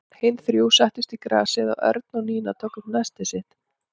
Hin þrjú settust í grasið og Örn og Nína tóku upp nestið sitt.